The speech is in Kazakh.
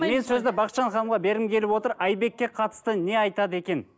мен сөзді бақытжан ханымға бергім келіп отыр айбекке қатысты не айтады екен